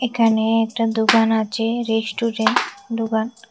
এখানে একটা দোকান আছে রেস্টুরেন্ট দোকান।